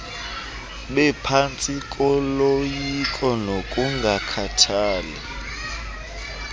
bephantsi koloyiko nokungakhathali